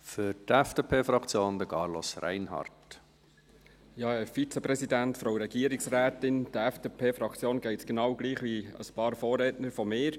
Der FDP-Fraktion geht es genau gleich wie einigen Vorrednern von mir.